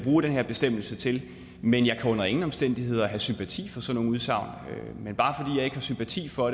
bruge den her bestemmelse til men jeg kan under ingen omstændigheder have sympati for sådan nogle udsagn men bare fordi jeg ikke har sympati for